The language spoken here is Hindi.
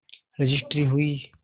रजिस्ट्री हुई